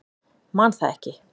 Man það ekki.